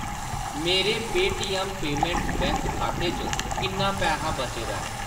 मेरे Paytm payments bank खाते च किन्ना पैहा बचे दा ऐ ?